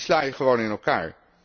Die sla je gewoon in elkaar.